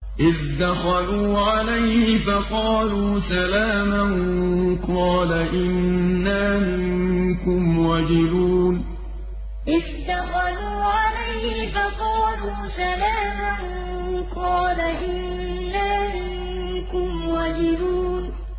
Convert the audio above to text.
إِذْ دَخَلُوا عَلَيْهِ فَقَالُوا سَلَامًا قَالَ إِنَّا مِنكُمْ وَجِلُونَ إِذْ دَخَلُوا عَلَيْهِ فَقَالُوا سَلَامًا قَالَ إِنَّا مِنكُمْ وَجِلُونَ